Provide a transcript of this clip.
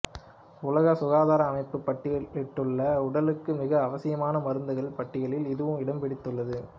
உலக சுகாதார அமைப்பு பட்டியலிட்டுள்ள உடலுக்கு மிக அவசியமான மருந்துகளின் பட்டியலில் இதுவும் இடம்பிடித்துள்ளது